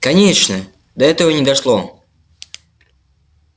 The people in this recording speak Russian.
конечно до этого не дошло